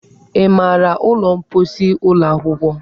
Ị maara ụlọ mposi ụlọ akwụkwọ?